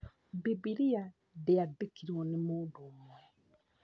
Bibilia ndĩandĩkirwo nĩ mũndũ ũmwe